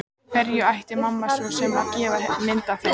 Hverjum ætti mamma svo sem að gefa mynd af þeim?